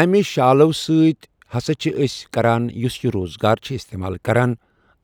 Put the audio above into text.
اَمہِ شالو سۭتۍ ہَسا چھِ أسۍ کَران یُس یہِ روزگار چھِ استعمال کَران